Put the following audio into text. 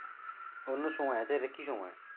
অন্য সময় আছে এটা কী সময়?